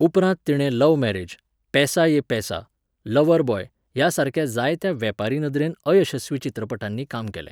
उपरांत तिणें love marriage, Paisa Yeh Paisa, lover boy ह्या सारक्या जायत्या वेपारी नदरेन अयशस्वी चित्रपटांनी काम केलें.